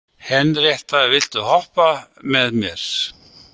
Henrietta, viltu hoppa með mér?